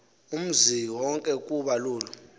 umziwonke ukuba lolu